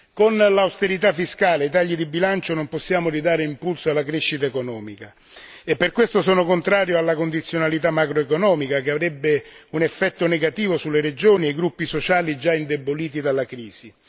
Con l'austerità fiscale e i tagli di bilancio non possiamo ridare impulso alla crescita economica e per questo sono contrario alla condizionalità macroeconomica che avrebbe un effetto negativo sulle regioni e i gruppi sociali già indeboliti dalla crisi.